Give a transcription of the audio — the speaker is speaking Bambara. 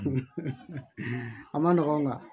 A ma nɔgɔn nga